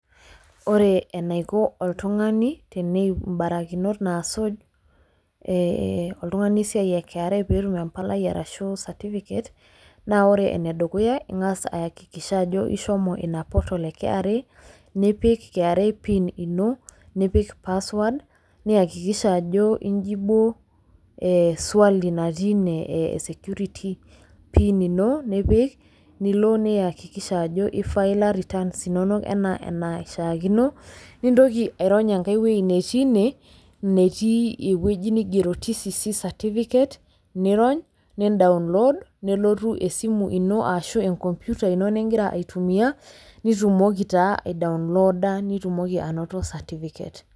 Wore enaiko oltungani, teneyiou imbarakinot naasuj, eh oltungani esiai e kra pee etum empalai arashu certificate, naa wore enedukuya, ingas ayakikisha ajo ishomo ina portal ee kra nipik kra pin ino, nipik password, niakikisha ajo injibuo ee swali natii inie ee security pin ino nipik nilo niakikisha ajo ifaila returns inonok enaa enaishiakino, nintoki airony enkae woji netii inee , netii ewoji nigiero TCC certificate niirony, nidaunlood, nelotu esimu ino aashu eenkoompita ino nikira aitumia, nitumoki taa aidaunlooda nitumoki ainoto certificate.